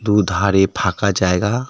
দুধারে ফাঁকা জায়গা .